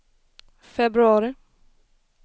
februari